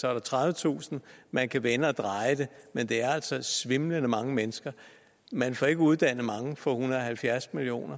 er der tredivetusind man kan vende og dreje det men der er altså svimlende mange mennesker man får ikke uddannet mange for en hundrede og halvfjerds million